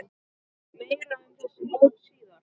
Meira um þessi mót síðar.